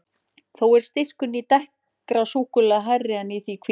Þó er styrkurinn í dekkra súkkulaðinu hærri en í því hvíta.